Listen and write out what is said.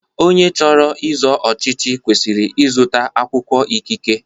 Onye chọrọ izo ọchịchị kwesịrị ịzụta akwụkwọ ikike.